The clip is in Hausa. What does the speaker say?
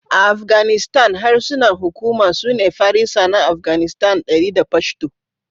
A Afganistan, harsunan hukuma sune Farisa na Afganistan (Dari) da Pashto.